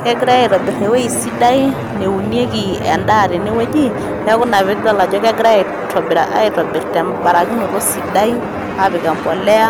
Kegirai aitobir eweji sidai neunieki endaa tene weji neaku ina piidol ajo kegirai aitobir to mbarakinoto sidai aapik mbolea